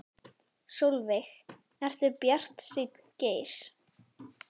Sólveig: Ertu bjartsýnn Geir?